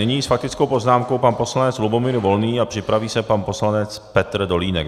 Nyní s faktickou poznámkou pan poslanec Lubomír Volný a připraví se pan poslanec Petr Dolínek.